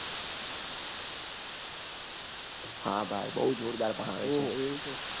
હા ભાઈ બઉ જોરદા ભણાવે